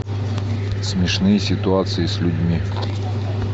смешные ситуации с людьми